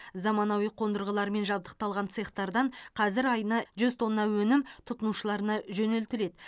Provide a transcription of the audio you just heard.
заманауи қондырғылармен жабдықталған цехтардан қазір айына жүз тонна өнім тұтынушыларына жөнелтіледі